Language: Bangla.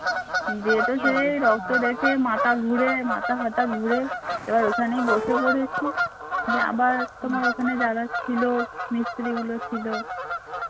রক্ত দেখে মাথা ঘুরে মাথাটাথা ঘুরে ওখানে বসে পড়েছি দিয়ে আবার তোমার ওখানে যারা ছিল মিস্ত্রিগুলো ছিল